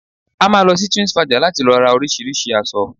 A máa lọ sí Twinsfaja láti lọ ra oríṣìíríṣìí aṣọ